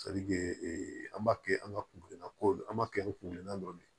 ee an b'a kɛ an ka kungirina kow an b'a kɛ ni kungirina dɔ de ye